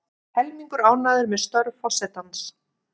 Helmingur ánægður með störf forsetans